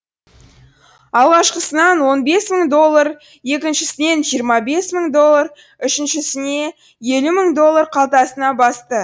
алғашқысынан он бес мың доллар екіншісінен жиырма бес мың доллар үшіншісіне елу мың доллар қалтасына басты